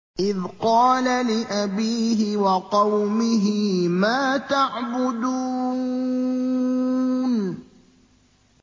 إِذْ قَالَ لِأَبِيهِ وَقَوْمِهِ مَا تَعْبُدُونَ